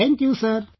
Thank you sir